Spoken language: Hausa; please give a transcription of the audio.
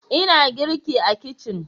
Ina girki a kicin